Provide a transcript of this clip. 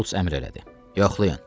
Şults əmr elədi: Yoxlayın.